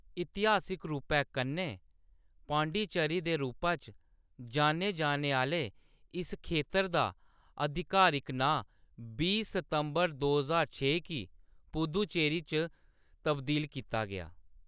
इतिहासिक रूपै कन्नै पांडिचेरी दे रूपा च जान्ने, जाने आह्‌‌‌ले इस खेतर दा आधिकारिक नांऽ बीह् सितंबर दो ज्हार छे गी पुद्दुचेरी च तब्दील कीता गेआ।